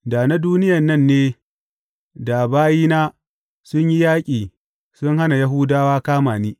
Da na duniyan nan ne da bayina sun yi yaƙi su hana Yahudawa kama ni.